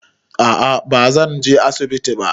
A'a bazan je asibiti ba